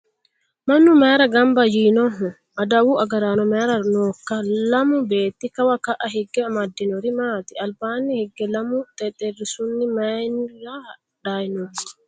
Mannu mayiira gamba yiinoho? Adawu agaraanono mayiira nookka? Lamu beetti Kawa ka'aa higge amadinori maati? Albaanni hige lamu xexerisuni mayiira hadhayi noo?